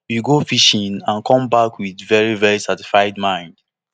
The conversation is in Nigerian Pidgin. we go fishing and come back wit veri veri satisfied mind